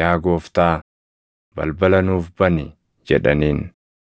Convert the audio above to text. yaa Gooftaa, balbala nuuf bani!’ jedhaniin.